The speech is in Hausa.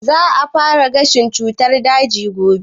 Za ta fara gashin cutar daji gobe?